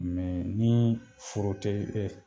nii foro te e